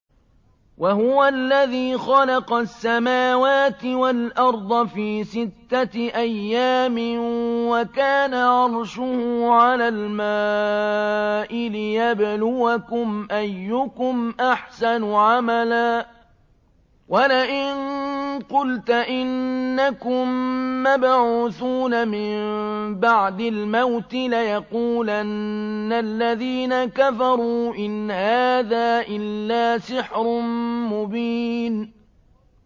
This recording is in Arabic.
وَهُوَ الَّذِي خَلَقَ السَّمَاوَاتِ وَالْأَرْضَ فِي سِتَّةِ أَيَّامٍ وَكَانَ عَرْشُهُ عَلَى الْمَاءِ لِيَبْلُوَكُمْ أَيُّكُمْ أَحْسَنُ عَمَلًا ۗ وَلَئِن قُلْتَ إِنَّكُم مَّبْعُوثُونَ مِن بَعْدِ الْمَوْتِ لَيَقُولَنَّ الَّذِينَ كَفَرُوا إِنْ هَٰذَا إِلَّا سِحْرٌ مُّبِينٌ